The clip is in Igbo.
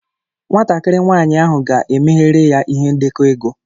Nwatakịrị nwanyị ahụ ga-emeghere ya ihe ndekọ ego.